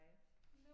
Hej